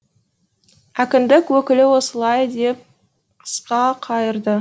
әкімдік өкілі осылай деп қысқа қайырды